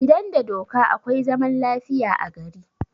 Idan da doka akwai zaman lafiya a gari